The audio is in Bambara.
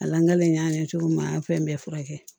A lalen y'a ɲɛ cogo min na an ye fɛn bɛɛ furakɛ